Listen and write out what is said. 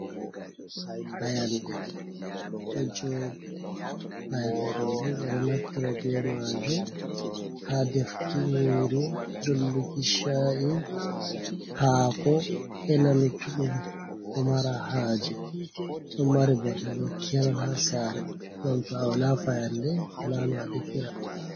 Payanɗe ɗo joɗi, payanɗe ɗo bo ɓeɗo naftira be majum ha defuki nyiri, dolluki cha’i, hako, ena luttuɗum ko mara haje ɗon mari bote bo kerol ha sare gam to awala fayanɗe wala no a defira.